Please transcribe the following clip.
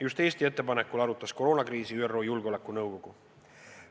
Just Eesti ettepanekul arutas koroonakriisi ÜRO Julgeolekunõukogu.